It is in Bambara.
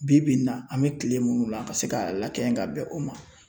Bi bi in na an bɛ kile munnu la a ka se ka lakɛɲɛ ka bɛn o ma